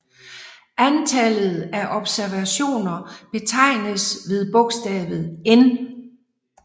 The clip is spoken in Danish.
Antallet af observationer betegnes ved bogstavet n